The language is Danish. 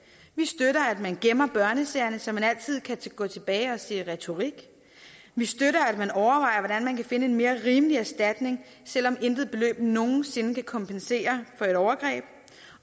vi støtter at man gemmer børnesagerne så man altid kan gå tilbage og se retorikken vi støtter at man overvejer hvordan man kan finde en mere rimelig erstatning selv om intet beløb nogen sinde kan kompensere for et overgreb